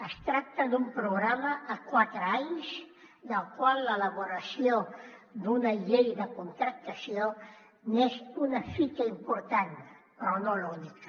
es tracta d’un programa a quatre anys del qual l’elaboració d’una llei de contractació n’és una fita important però no l’única